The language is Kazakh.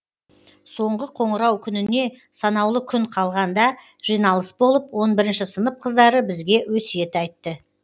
соңғы қоңырау күніне санаулы күн қалған да жиналыс болып он бірінші сынып қыздары бізге өсиет айтты